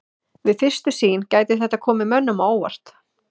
Við fyrstu sýn gæti þetta komið mönnum á óvart.